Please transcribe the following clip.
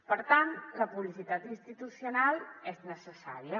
per tant la publicitat institucional és necessària